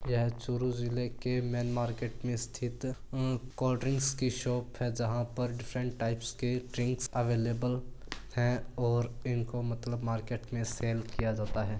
यह चूरू जिले के मैन मार्केट में स्थित कोल्ड ड्रिंक की शॉप है जहां पर डिफरेंट टाइप के ड्रिंक अवेलेबल हैऔर इनका मतलब मार्केट में सेल किया जाता है।